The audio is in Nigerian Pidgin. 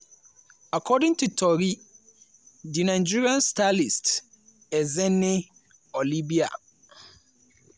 according to di tori di nigerian stylist ezinne olivia